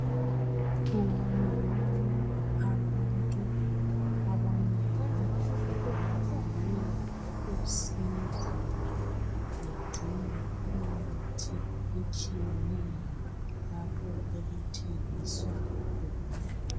Kubonakala abantu abanengi bemelele usizo bedinga imithi etshiyeneyo lapho okuthengiswa khona